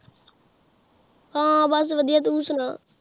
ਹਾਂ ਬਸ ਵਧੀਆ, ਤੂੰ ਸੁਣਾ